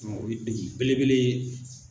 Mɛ o ye degun belebele ye.